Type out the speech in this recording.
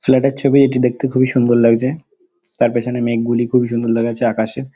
Flat -এর ছবি এটি দেখতে খুবই সুন্দর লাগছে তার পিছনে মেঘ গুলি খুবই সুন্দর দেখাচ্ছে আকাশে।